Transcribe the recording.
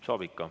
Saab ikka.